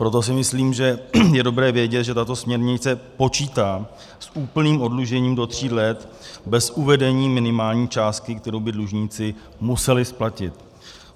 Proto si myslím, že je dobré vědět, že tato směrnice počítá s úplným oddlužením do tří let bez uvedení minimální částky, kterou by dlužníci museli splatit.